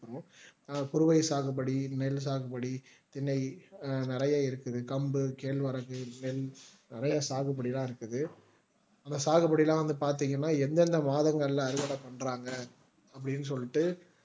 குருவை சாகுபடி நெல் சாகுபடி திணை நிறைய இருக்குது கம்பு கேழ்வரகு நெல் நிறைய சாகுபடிலாம் இருக்குது அந்த சாகுபடி எல்லாம் பார்த்திங்கன்னா எந்தெந்த மாதங்கள்ள அறுவடை பண்றாங்க அப்படின்னு சொல்லிட்டு